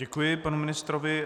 Děkuji panu ministrovi.